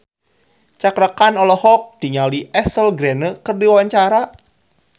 Cakra Khan olohok ningali Ashley Greene keur diwawancara